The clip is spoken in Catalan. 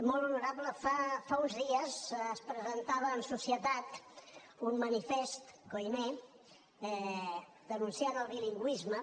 molt honorable fa uns dies es presentava en societat un manifest koiné denunciant el bilingüisme